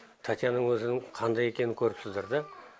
татьяның өзінің қандай екенін көріпсіздер да